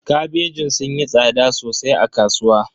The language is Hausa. Kabejin sun yi tsada sosai a kasuwa.